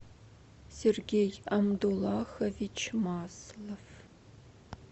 сергей амдулахович маслов